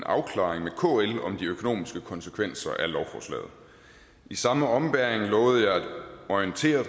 afklaring med kl om de økonomiske konsekvenser af lovforslaget i samme ombæring lovede jeg at orientere